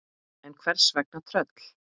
En hvers vegna tröll?